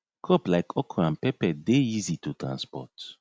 crop like okra and pepper dey easy to transport